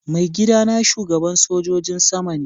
Maigida na shugaban sojin sama ne.